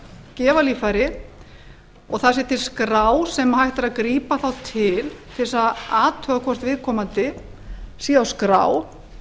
gefa líffæri og það sé til skrá sem þá sé hægt að gripa til til að athuga hvort viðkomandi sé á skrá